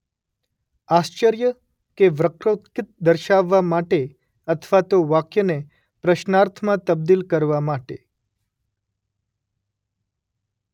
આશ્ચર્ય કે વક્રોક્તિ દર્શાવવા માટે અથવા તો વાક્યને પ્રશ્નાર્થમાં તબદિલ કરવા માટે.